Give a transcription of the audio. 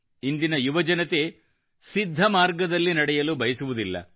ಇಂದಿನ ಯುವಜನತೆ ಸಿದ್ಧ ಮಾರ್ಗದಲ್ಲಿ ನಡೆಯಲು ಬಯಸುವುದಿಲ್ಲ